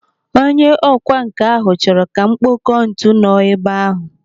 Onye ọkwa nkà ahụ chọrọ kà m kpọkọọ ntu nọ ebe ahụ.